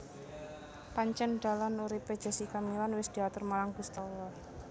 Pancen dalan urip e Jessica Mila wis diatur marang Gusti Allah